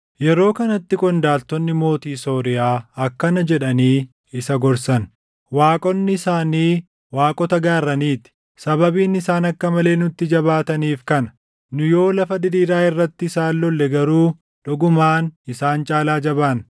Yeroo kanatti qondaaltonni mootii Sooriyaa akkana jedhanii isa gorsan; “Waaqonni isaanii waaqota gaarranii ti. Sababiin isaan akka malee nutti jabaataniif kana. Nu yoo lafa diriiraa irratti isaan lolle garuu dhugumaan isaan caalaa jabaanna.